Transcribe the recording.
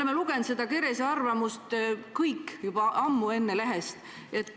Me kõik olime seda Kerese arvamust ammu enne juba lehest lugenud.